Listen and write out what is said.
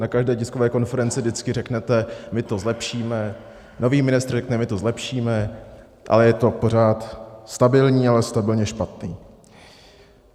Na každé tiskové konferenci vždycky řeknete "my to zlepšíme", nový ministr řekne "my to zlepšíme", ale je to pořád stabilní, ale stabilně špatné.